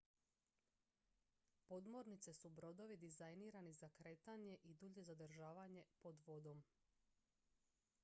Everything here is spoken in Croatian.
podmornice su brodovi dizajnirani za kretanje i dulje zadržavanje pod vodom